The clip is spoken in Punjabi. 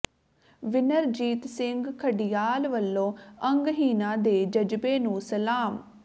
ਵਿਨਰਜੀਤ ਸਿੰਘ ਖਡਿਆਲ ਵਲੋਂ ਅੰਗਹੀਣਾਂ ਦੇ ਜਜ਼ਬੇ ਨੂੰ ਸਲਾਮ